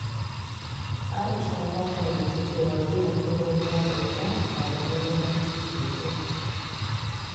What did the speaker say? Aisha ta fahimci cewa biyan kuɗin ruwa da wuta na da mahimmanci sosai.